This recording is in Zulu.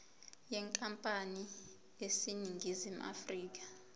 yenkampani eseningizimu afrika